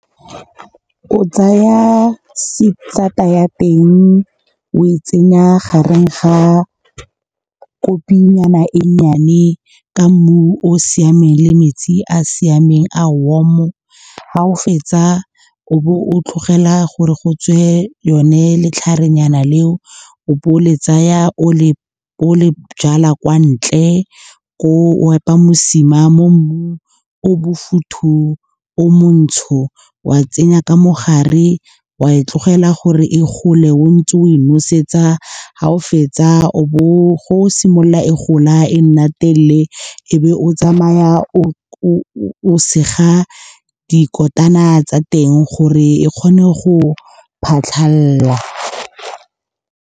O tsaya sata ya teng, o e tsenya gare ga kopinyana e nnyane ka mmu o o siameng le metsi a a siameng a warm-o. Ga o fetsa o bo o tlogela gore go tswe yone letlharenyana leo. O bo o le tsaya o le jala kwa ntle, koo o epa mosima mo mmung o bofuthu, o montsho. Wa tsenya ka mogare, wa e tlogela gore e gole, o ntse o e nosetsa. Ga o fetsa go o simolola e gola, e nna telele, ebe o tsamaya o sega dikotana tsa teng gore e kgone go phatlhalala.